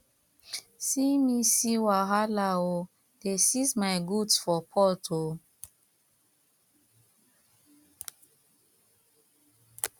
see me see wahala ooo dey seize my goods for port ooo